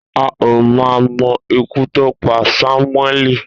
A ò mà mo̩ ikú tó pa Samueli.